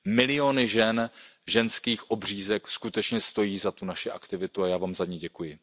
Miliony žen, ženských obřízek skutečně stojí za tu naši aktivitu a já vám za ni děkuji.